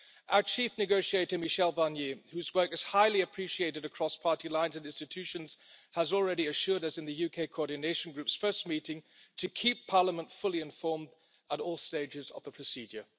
Our chief negotiator Michel Barnier, whose work is highly appreciated across party lines in the institutions, has already assured us in the UK coordination group's first meeting to keep Parliament fully informed at all stages of the procedure.